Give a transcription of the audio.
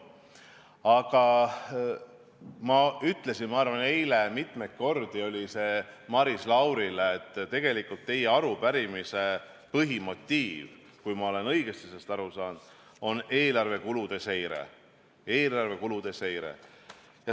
Aga nagu ma ütlesin eile mitu korda ka, ma arvan, Maris Laurile, on teie arupärimise põhimotiiv, kui ma olen õigesti aru saanud, tegelikult eelarve kulude seire.